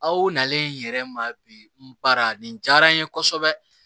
Aw nalen yɛrɛ ma bi n bara nin diyara n ye kosɛbɛ